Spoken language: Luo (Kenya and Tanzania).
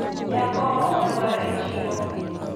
jokongo olwar e chiro